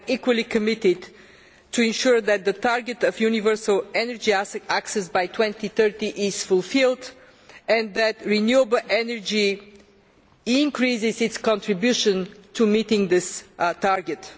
We are equally committed to ensuring that the target of universal energy access by 2030 is fulfilled and that renewable energy increases its contribution to meeting this target.